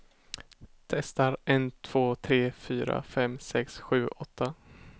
Testar en två tre fyra fem sex sju åtta.